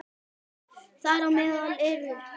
Þar á meðal eru